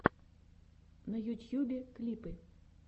на ютьюбе клипы